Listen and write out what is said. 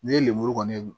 Ne ye lemuru kɔni